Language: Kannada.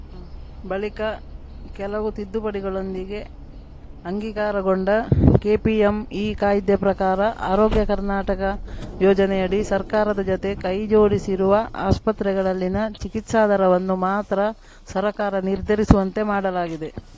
ಬಳಿಕ ಕೆಲವು ತಿದ್ದುಪಡಿಗಳೊಂದಿಗೆ ಅಂಗೀಕಾರಕೊಂಡ ಕೆಪಿಎಂಇ ಕಾಯ್ದೆ ಪ್ರಕಾರ ಆರೋಗ್ಯ ಕರ್ನಾಟಕ ಯೋಜನೆಯಡಿ ಸರ್ಕಾರದ ಜತೆ ಕೈಜೋಡಿಸಿರುವ ಆಸ್ಪತ್ರೆಗಳಲ್ಲಿನ ಚಿಕಿತ್ಸಾ ದರವನ್ನು ಮಾತ್ರ ಸರ್ಕಾರ ನಿರ್ಧರಿಸುವಂತೆ ಮಾಡಲಾಗಿದೆ